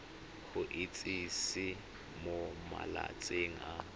go itsise mo malatsing a